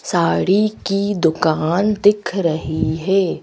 साड़ी की दुकान दिख रही है।